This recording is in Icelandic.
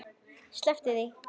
Sleppum því.